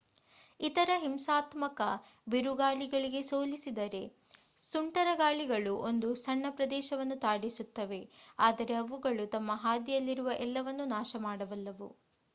ಇತರ ಹಿಂಸಾತ್ಮಕ ಬಿರುಗಾಳಿಗಳಿಗೆ ಹೋಲಿಸಿದರೆ ಸುಂಟರಗಾಳಿಗಳು ಒಂದು ಸಣ್ಣ ಪ್ರದೇಶವನ್ನು ತಾಡಿಸುತ್ತವೆ ಆದರೆ ಅವುಗಳು ತಮ್ಮ ಹಾದಿಯಲ್ಲಿರುವ ಎಲ್ಲವನ್ನೂ ನಾಶಮಾಡಬಲ್ಲವು